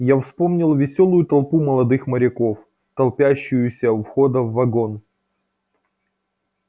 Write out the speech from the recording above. я вспомнил весёлую толпу молодых моряков толпящуюся у входа в вагон